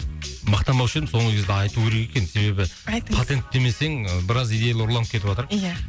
мақтанбаушы едім соңғы кезде айту керек екен себебі айтыңыз патенттемесең ы біраз идеялар ұрланып кетіватыр ия